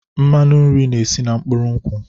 Mmanụ nri na-esi na mkpụrụ nkwụ.